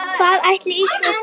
Hvað ætli Ísland komist langt?